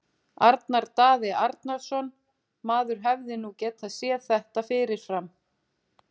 Arnar Daði Arnarsson Maður hefði nú getað séð þetta fyrir fram.